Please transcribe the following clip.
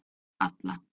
Alla